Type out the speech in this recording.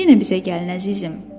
Yenə bizə gəlin əzizim.